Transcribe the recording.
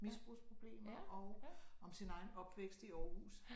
Misbrugsproblemer og om sin egen opvækst i Aarhus